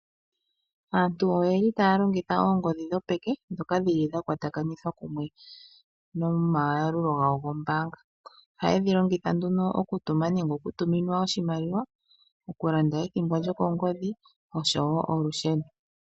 Aantu oye li taya longitha oongodhi dhopeke ndhoka dhili dhakwatakanitha kumwe nomayalulo gawo gombaanga. Ohaye dhi longitha okutuma nenge okutuminwa iimaliwa , okulanda ethimbo lyokongodhi oshowoo olusheno.